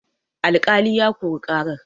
alƙali ya Kori karar